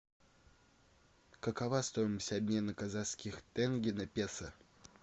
какова стоимость обмена казахских тенге на песо